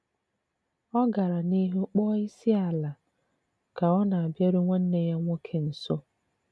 Ọ̀ gara n'ihu kpọọ isi n'ala kà ọ na-abịàru nwanne yà nwoke nso.